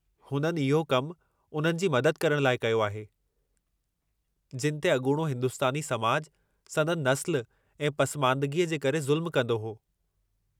हुननि इहो कमु उन्हनि जी मदद करणु लाइ कयो आहे, जिनि ते अॻूणो हिंदुस्तानी समाज संदनि नस्लु ऐं पसमांदगीअ जे करे ज़ुल्मु कंदो हो।